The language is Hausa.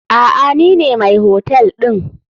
Aa nine mai hotel ɗin.